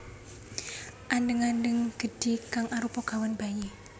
Andheng andheng gedhi kang arupa gawan bayi